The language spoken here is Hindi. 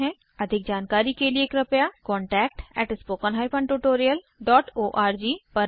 अधिक जानकारी के लिए कृपया contactspoken tutorialorg पर लिखें